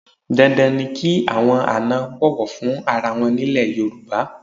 Dandan ni kí àwọn àna bọ̀wọ̀ fún ara wọn ní ilẹ̀ Yorùbá.